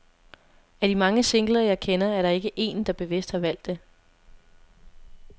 Af de mange singler, jeg kender, er der ikke en, der bevidst har valgt det.